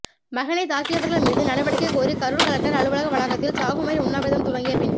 மகனை தாக்கியவர்கள் மீது நடவடிக்ைக கோரி கரூர் கலெக்டர் அலுவலக வளாகத்தில் சாகும் வரை உண்ணாவிரதம் துவங்கிய பெண்